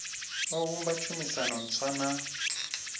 o vhumba tshumisano ntswa na